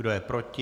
Kdo je proti?